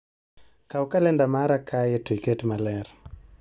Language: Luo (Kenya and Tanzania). Kaw kalenda mara kae to ikete maler